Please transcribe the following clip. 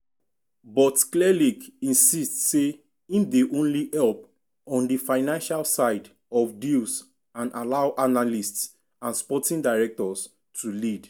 but clearlake insist say im dey only help on di financial side of deals and allow analysts and sporting directors to lead.